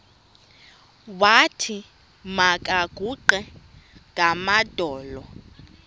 wathi makaguqe ngamadolo